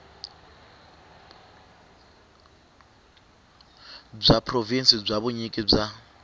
bya provhinsi bya vunyiki bya